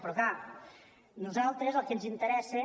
però clar a nosaltres el que ens interessa